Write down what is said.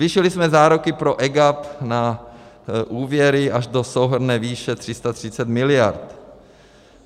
Zvýšili jsme záruky pro EGAP na úvěry až do souhrnné výše 330 miliard.